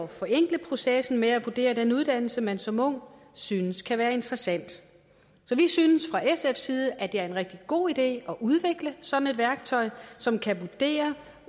forenkle processen med at vurdere den uddannelse man som ung synes kan være interessant så vi synes fra sfs side at det er en rigtig god idé at udvikle sådan et værktøj som kan vurdere